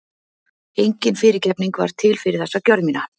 Engin fyrirgefning var til fyrir þessa gjörð mína.